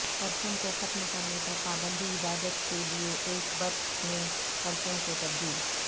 پرچم کو ختم کرنے پر پابندی عبادت کے لئے ایک بت میں پرچم کو تبدیل